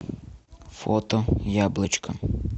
фото яблочко